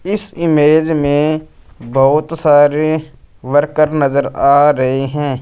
इस इमेज में बहुत सारे वर्कर नज़र आ रहे हैं।